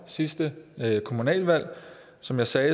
sidste kommunalvalg som jeg sagde